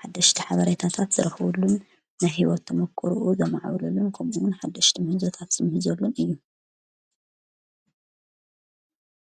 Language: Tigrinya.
ሓደሽቲ ሓብሬይታታፍ ዝረኽዉሉን ናሕይወት ቶምክርኡ ዘምዓውለሉን ከምውን ሓደሽቲ ምሕንዘ ታፍስምሕ ዘሉን እዩ